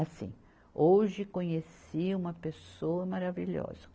Assim, hoje conheci uma pessoa maravilhosa.